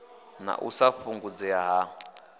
na u sa fhungudzea ha